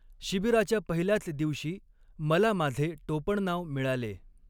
शिबिराच्या पहिल्याच दिवशी मला माझे टोपणनाव मिळाले.